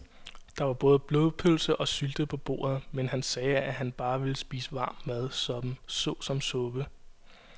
Der var både blodpølse og sylte på bordet, men han sagde, at han bare ville spise varm mad såsom suppe.